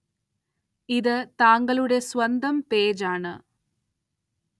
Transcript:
ഇത് താങ്കളുടെ സ്വന്തം പേജ് ആണ്‌